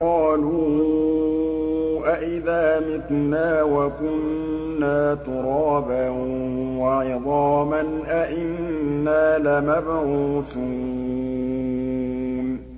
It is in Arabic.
قَالُوا أَإِذَا مِتْنَا وَكُنَّا تُرَابًا وَعِظَامًا أَإِنَّا لَمَبْعُوثُونَ